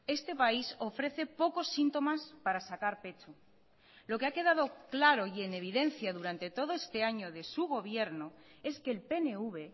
este país ofrece pocos síntomas para sacar pecho lo que ha quedado claro y en evidencia durante todo este año de su gobierno es que el pnv